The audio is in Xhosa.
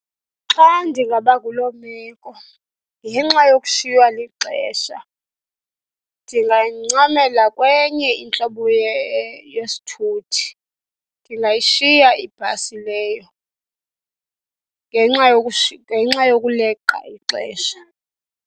Xa ndingaba kuloo meko ngenxa yokushiywa lixesha ndingancamela kwenye intlobo yesithuthi. Ndingayishiya ibhasi leyo ngenxa ngenxa yokuleqa ixesha.